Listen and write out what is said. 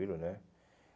né